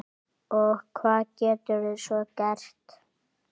Og hvað geturðu svo gert?